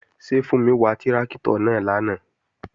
Ṣé Fúnmi wà tráktọ̀ náà lánàá?